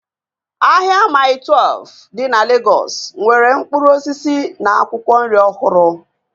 Ahịa Maii Twelfu dị na Legọs nwere mkpụrụ osisi na akwụkwọ nri ọhụrụ